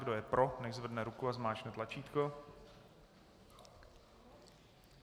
Kdo je pro, nechť zvedne ruku a zmáčkne tlačítko.